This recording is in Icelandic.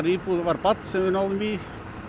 íbúð var barn sem við náðum í